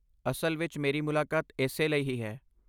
ਅਸਲ ਵਿੱਚ, ਮੇਰੀ ਮੁਲਾਕਾਤ ਇਸੇ ਲਈ ਹੀ ਹੈ।